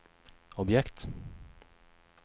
objekt